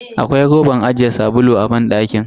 Akwai roban ajiye sabulu a banɗakin.